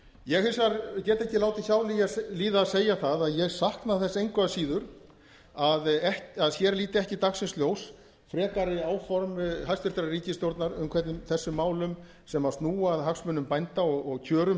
ég get hins vegar ekki látið hjá líða að segja það að ég sakna þess engu að síður að hér líti ekki dagsins ljós frekari áform hæstvirtrar ríkisstjórnar um hvernig þessum málum sem snúa að hagsmunum bænda og kjörum